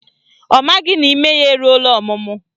Ọ maghị na ime ya eruola ọmụmụ